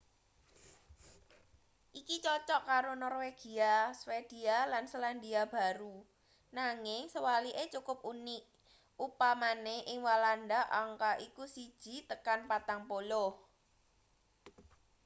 iki cocok karo norwegia swedia lan selandia baru nanging sewalike cukup unik upamane ing walanda angka iku siji tekan patang puluh